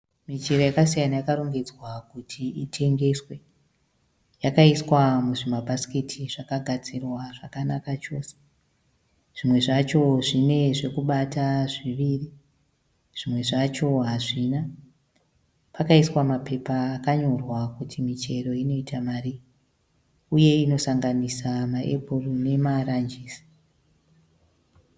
Michero yakasiyana yakarongedzwa kuti itengeswe. Yakaiswa muzvimabhasiketi zvakagadzirwa zvakanaka chose. Zvimwe zvacho zvine zvokubata zviviri, zvimwe zvacho hazvina. Pakaiswa papepa akanyorwa kuti michero inoita marii uye inosanganisa maepuru nemarajisi.